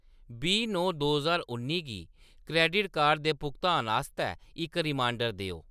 बीह् नौ दो ज्हार उ'न्नी गी क्रैडिट कार्ड दे भुगतान आस्तै इक रिमाइंडर देओ।